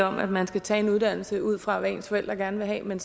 om at man skal tage en uddannelse ud fra hvad ens forældre gerne vil have men